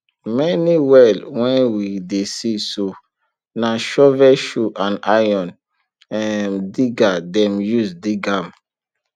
many well wen we dey see so na shovelshoe and iron um diggers dem use dig am